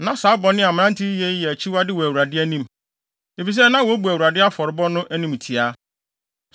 Na saa bɔne a mmerante yi yɛ yi yɛ akyiwade wɔ Awurade anim, efisɛ na wobu Awurade afɔrebɔ no animtiaa.